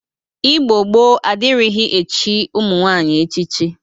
Igbo gboo adịrighị echi ụmụ nwaanyị echichi